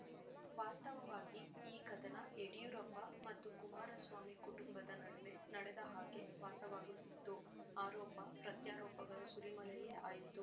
ವಾಸ್ತವವಾಗಿ ಈ ಕದನ ಯಡಿಯೂರಪ್ಪ ಮತ್ತು ಕುಮಾರಸ್ವಾಮಿ ಕುಟುಂಬದ ನಡುವೆ ನಡೆದ ಹಾಗೆ ಭಾಸವಾಗುತ್ತಿತ್ತು ಆರೋಪಪ್ರತ್ಯಾರೋಪಗಳ ಸುರಿಮಳೆಯೇ ಆಯಿತು